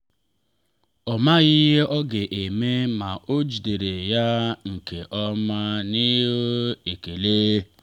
ọ maghị ihe ọ ga-eme ma ọ jidere ya nke ọma n’ihu ekele.